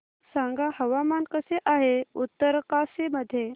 सांगा हवामान कसे आहे उत्तरकाशी मध्ये